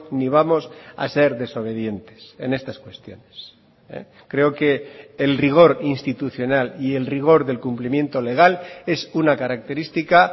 ni vamos a ser desobedientes en estas cuestiones creo que el rigor institucional y el rigor del cumplimiento legal es una característica